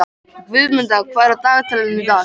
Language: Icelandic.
Guðmunda, hvað er á dagatalinu í dag?